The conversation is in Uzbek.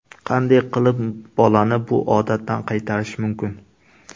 Qanday qilib bolani bu odatdan qaytarish mumkin?